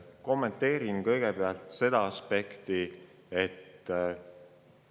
Kommenteerin kõigepealt seda aspekti.